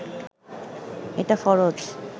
এটা ফরজ